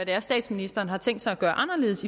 hvad statsministeren har tænkt sig at gøre anderledes